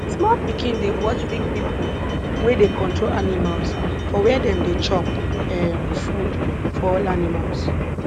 small pikin dey watch big pipo wey dey control animals for where dem dey chop um food for all animals